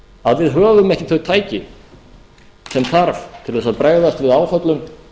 að við höfum ekki þau tæki sem þarf til þess að bregðast við áföllum